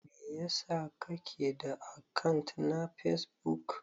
Mai ya sa kake da akant na Facebook?